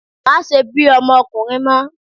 Má ṣe bí ọmọkùnrin mọ́!